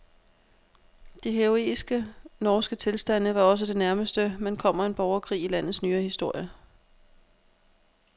De heroiske norske tilstande var også det nærmeste, man kommer en borgerkrig i landets nyere historie.